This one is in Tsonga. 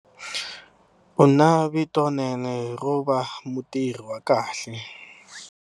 U na vitonene ro va mutirhi wa kahle.